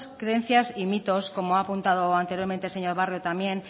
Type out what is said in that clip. creencias y mitos como ha apuntado anteriormente el señor barrio también